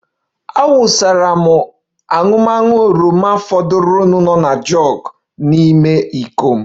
M wụsara ihe ọṅụṅụ oroma fọdụrụnụ na jug n'ime iko m